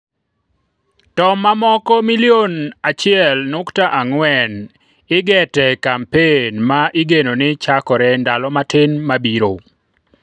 To mamoko milion achiel nukta ang'wen igete e kampen ma igeno ni chakore ndalo matin mabiro